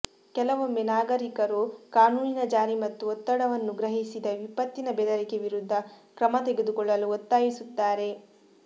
ಕೆಲವೊಮ್ಮೆ ನಾಗರಿಕರು ಕಾನೂನಿನ ಜಾರಿ ಮತ್ತು ಒತ್ತಡವನ್ನು ಗ್ರಹಿಸಿದ ವಿಪತ್ತಿನ ಬೆದರಿಕೆ ವಿರುದ್ಧ ಕ್ರಮ ತೆಗೆದುಕೊಳ್ಳಲು ಒತ್ತಾಯಿಸುತ್ತಾರೆ